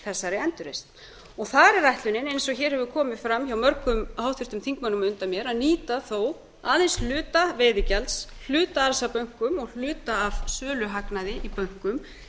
þessari endurreisn og þar er ætlunin eins og hér hefur komið fram hjá mörgum háttvirtum þingmönnum á undan mér að nýta þó aðeins hluta veiðigjalds hluta af bönkum og hluta af söluhagnaði í bönkum